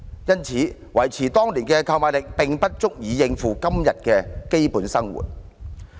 因此，維持當年的購買力並不足以讓受助人應付今天的基本生活需要。